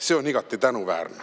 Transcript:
See on igati tänuväärne."